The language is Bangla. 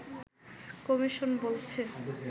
কমিশন বলছে